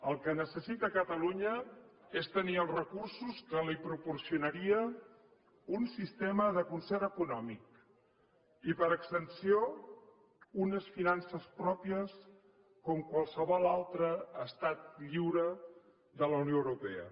el que necessita catalunya és tenir els recursos que li proporcionaria un sistema de concert econòmic i per extensió unes finances pròpies com qualsevol altre estat lliure de la unió europea